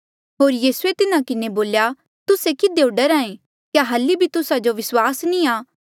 होर यीसूए तिन्हा किन्हें बोल्या तुस्से किधियो डरहा ऐें क्या हल्ली बी तुस्सा जो विस्वास नी आ